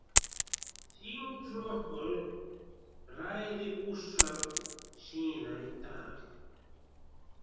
Þingflokkur ræði úrsögn síðar í dag